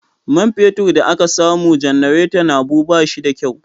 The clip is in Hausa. Man fetur da aka sama janareton Habu ba shi da kyau.